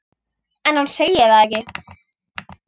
En hún segir það ekki.